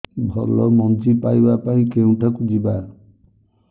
ଭଲ ମଞ୍ଜି ପାଇବା ପାଇଁ କେଉଁଠାକୁ ଯିବା